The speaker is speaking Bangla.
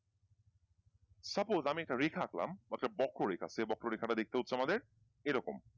supose আমি একটা রেখা আঁকলাম অর্থাৎ বক্ররেখা আছে বক্ররেখা টা দেখতে হচ্ছে আমাদের এরকম।